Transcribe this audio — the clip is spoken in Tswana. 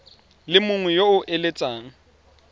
le mongwe yo o eletsang